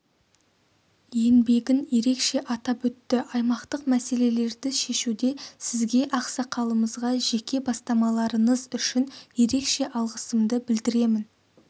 еңбегін ерекше атап өтті аймақтық мәселелерді шешуде сізге ақсақалымызға жеке бастамаларыңыз үшін ерекше алғысымды білдіремін